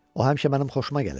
O həmişə mənim xoşuma gəlir.